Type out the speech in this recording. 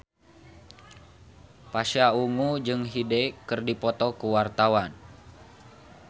Pasha Ungu jeung Hyde keur dipoto ku wartawan